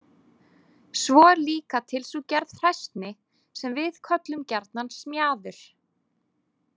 Svo er líka til sú gerð hræsni sem við köllum gjarnan smjaður.